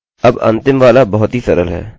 यह अब तक काफी समझ में आ गया होगा